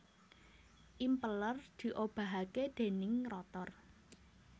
Impeller diobahake déning rotor